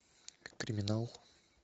криминал